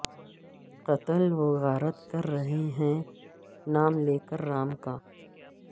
قتل و غارت کر رہے ہیں نام لے کر رام کا